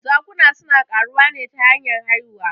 Zakuna suna ƙaruwa ne ta hanyar haihuwa.